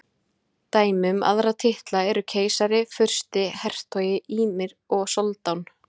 Dæmi um aðra titla eru keisari, fursti, hertogi, emír og soldán.